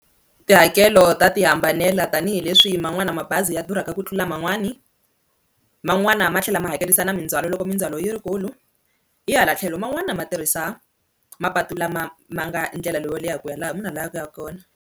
Tihakelo ta ti hambanela tanihileswi man'wana mabazi ya durhaka ku tlula man'wani, man'wana ma tlhela ma hakerisa na mindzwalo loko mindzhwalo yi rikulu hi hala tlhelo man'wana ma tirhisa mapatu lama ma nga ndlela leyo leha ku ya laha munhu a lavaka ku yaka kona.